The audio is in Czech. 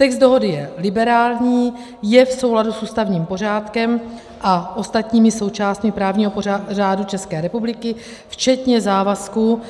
Text dohody je liberální, je v souladu s ústavním pořádkem a ostatními součástmi právního řádu České republiky včetně závazků